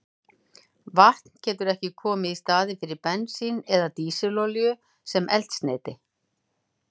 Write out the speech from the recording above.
Vatn getur ekki komið í staðinn fyrir bensín eða dísilolíu sem eldsneyti.